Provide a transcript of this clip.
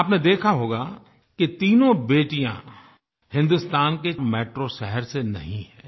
आपने देखा होगा कि तीनों बेटियाँ हिन्दुस्तान के मेट्रो शहर से नहीं हैं